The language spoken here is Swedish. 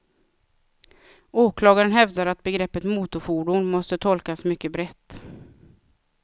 Åklagaren hävdar att begreppet motorfordon måste tolkas mycket brett.